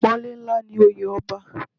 Apọnle ńlá ni oye ọba.